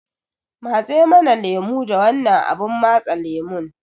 matse mana lemo da wannan abun matse lemon